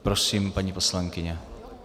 Prosím, paní poslankyně.